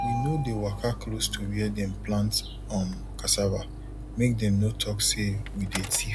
we no dey waka close to where dem plant um cassava make dem no talk say we dey thief